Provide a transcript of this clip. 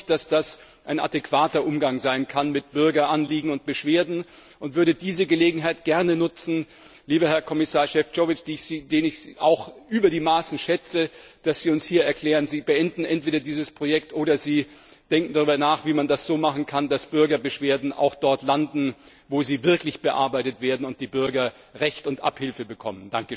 Ich glaube nicht, dass das ein adäquater Umgang mit Bürgeranliegen und Beschwerden sein kann, und würde diese Gelegenheit gerne nutzen, lieber Kommissar Šefčovič, den ich über die Maßen schätze, dass Sie uns hier erklären Sie beenden entweder dieses Projekt oder denken darüber nach, wie man es so machen kann, dass Bürgerbeschwerden auch dort landen, wo sie wirklich bearbeitet werden und die Bürger Recht und Abhilfe bekommen.